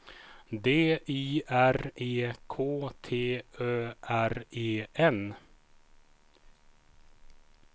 D I R E K T Ö R E N